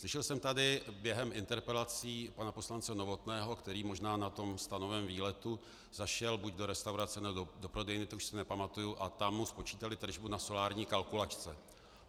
Slyšel jsem tady během interpelací pana poslance Novotného, který možná na tom stanovém výletu zašel buď do restaurace, nebo do prodejny, to už se nepamatuji, a tam mu spočítali tržbu na solární kalkulačce.